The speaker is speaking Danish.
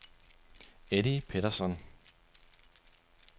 Eddie Pettersson